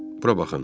Bura baxın.